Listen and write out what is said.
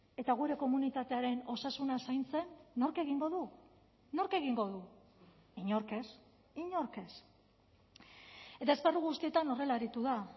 eta gure komunitatearen osasuna zaintzen nork egingo du nork egingo du inork ez inork ez eta esparru guztietan horrela aritu da